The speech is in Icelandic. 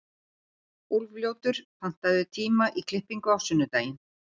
Úlfljótur, pantaðu tíma í klippingu á sunnudaginn.